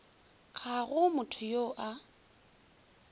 ga go motho yo a